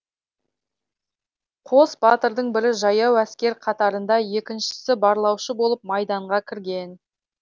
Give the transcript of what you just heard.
қос батырдың бірі жаяу әскер қатарында екіншісі барлаушы болып майданға кірген